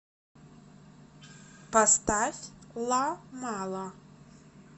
поставь ла мала